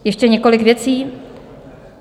Ještě několik věcí.